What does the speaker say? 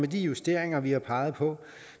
de justeringer vi har peget på